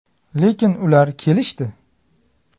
Lekin ular kelishdi.